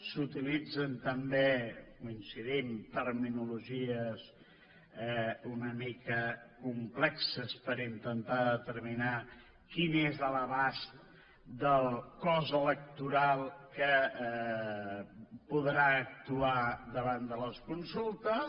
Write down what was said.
s’utilitzen també hi coincidim terminologies una mica complexes per intentar determinar quin és l’abast del cos electoral que podrà actuar davant de les consultes